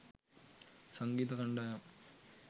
සංගීත කණ්ඩායම්